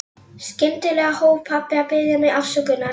Skyndilega hóf pabbi að biðja mig afsökunar.